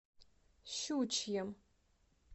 щучьем